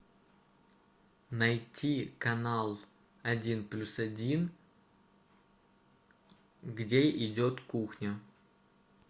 найти канал один плюс один где идет кухня